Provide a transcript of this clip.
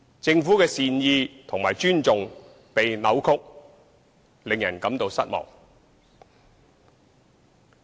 政府的善意和尊重被扭曲，令人感到失望。